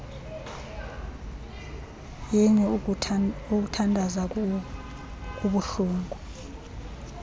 yini ukuthandaza kubuhlungu